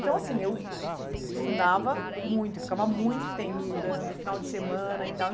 Então, assim, eu estudava muito, eu ficava muito tempo estudando, final de semana e tal.